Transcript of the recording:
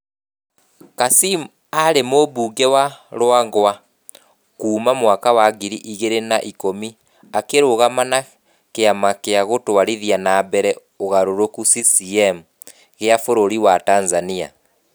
Kassim, aarĩ mũmbunge wa Ruangwa kuma mwaka wa ngiri igiri na ikumi akĩrũgama na kiama gia gũtwarithia na mbere ũgarũrũku (CCM) gia bũrũri wa Tanzania.